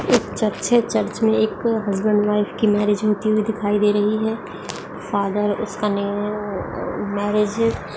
एक चर्च है चर्च में एक हस्बैंड वाइफ की मैरिज होती हुई दिखाई दे रही है फादर उसका नेम मैरेज --